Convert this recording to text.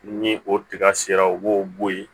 Ni o tiga sera u b'o bɔ yen